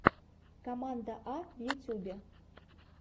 команда а в ютюбе